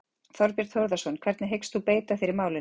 Þorbjörn Þórðarson: Hvernig hyggst þú beita þér í málinu?